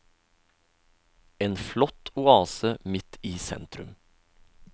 En flott oase midt i sentrum.